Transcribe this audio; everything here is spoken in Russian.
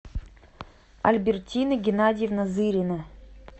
альбертина геннадьевна зырина